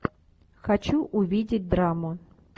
хочу увидеть драму